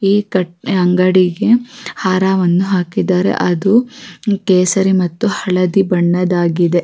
ಈ ಅಂಗಡಿಗೆ ಹಾರವನ್ನು ಹಾಕಿದ್ದಾರೆ ಅದು ಕೇಸರಿ ಮತ್ತು ಹಳದಿ ಬಣ್ಣದಾಗಿದೆ.